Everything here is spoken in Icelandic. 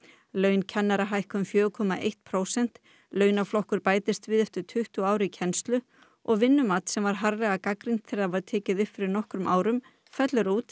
laun kennara hækka um fjögur komma eitt prósent launaflokkur bætist við eftir tuttugu ár í kennslu og vinnumat sem var harðlega gagnrýnt þegar það var tekið upp fyrir nokkrum árum fellur út